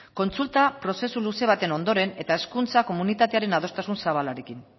kontsulta prozesu luze baten ondoren eta hezkuntza komunitatearen adostasun zabalarekin